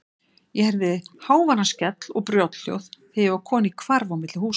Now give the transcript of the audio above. Ég heyrði háværan skell og brothljóð þegar ég var kominn í hvarf á milli húsa.